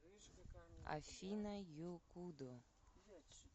афина якубо